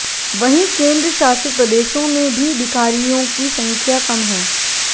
वहीं केंद्र शासित प्रदेशों में भी भिखारियों की संख्या कम है